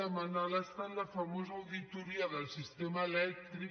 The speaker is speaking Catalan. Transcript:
demanar a l’estat la famosa auditoria del sistema elèctric